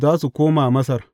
Za su koma Masar.